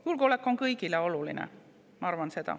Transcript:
Julgeolek on kõigile oluline, ma arvan.